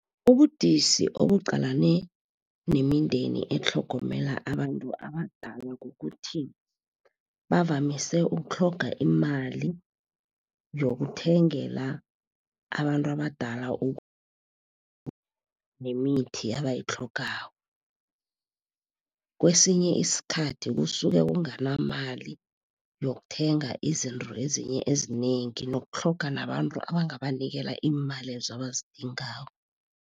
Ubudisi obuqalene nemindeni etlhogomela abantu abadala kukuthi, bavamise ukutlhoga imali yokuthengela abantu abadala nemithi abayitlhogako. Kwesinye isikhathi kusuke kunganamali yokuthenga izinto ezinye ezinengi nokutlhoga nabantu abangabanikela iimalezo abazidingako.